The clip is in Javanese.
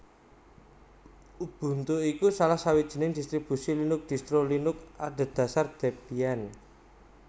Ubuntu iku salah sawijining distribusi Linux distro Linux adhedhasar Debian